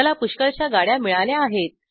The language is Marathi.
मला पुष्कळशा गाड्या मिळाल्या आहेत